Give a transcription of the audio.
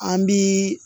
An bi